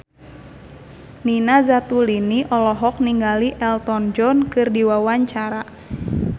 Nina Zatulini olohok ningali Elton John keur diwawancara